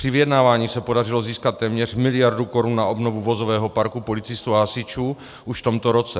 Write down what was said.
Při vyjednávání se podařilo získat téměř miliardu korun na obnovu vozového parku policistů a hasičů už v tomto roce.